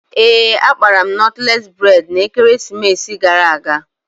Ee, akpara m nọtles bredna ekeresimesi gara aga